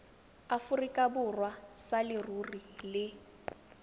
aforika borwa sa leruri le